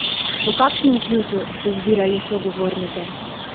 Po kakšnem ključu ste zbirali sogovornike?